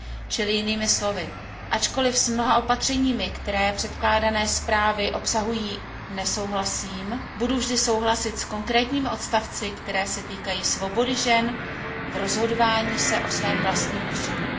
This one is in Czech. Čili jinými slovy, ačkoliv s mnoha opatřeními, které předkládané zprávy obsahují, nesouhlasím, budu vždy souhlasit s konkrétními body, které se týkají svobody žen při rozhodování o svém vlastním osudu.